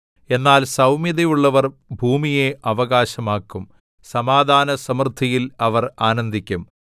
എന്നാൽ സൗമ്യതയുള്ളവർ ഭൂമിയെ അവകാശമാക്കും സമാധാനസമൃദ്ധിയിൽ അവർ ആനന്ദിക്കും